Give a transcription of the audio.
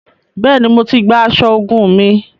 Bẹẹni, Mó tí gbà aṣọ ogún mí